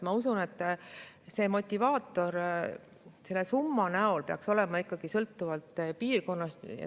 Ma usun, et motivaator selle summa näol peaks olema ikkagi sõltuv piirkonnast.